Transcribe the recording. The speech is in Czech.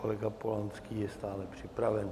Kolega Polanský je stále připraven.